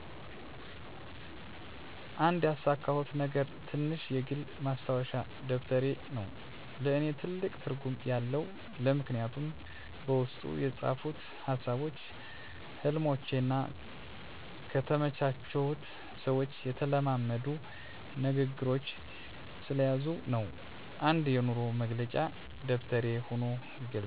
አንድ ያሳኩት ነገር ትንሽ የግል ማስታወሻ ደብተሬ ነው። ለእኔ ትልቅ ትርጉም ያለው ለምክንያቱም በውስጡ የተጻፉ ሀሳቦች፣ ሕልሞቼ እና ከተመቻቸሁት ሰዎች የተለማመዱ ንግግሮች ስለያዙ ነው። እንደ የኑሮ መግለጫ ደብተሬ ሆኖ ይገለጣል።